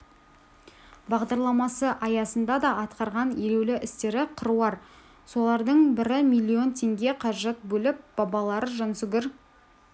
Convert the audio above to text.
бағдарламасы аясында да атқарған елеулі істері қыруар солардың бірі миллион теңге қаражат бөліп бабалары жансүгір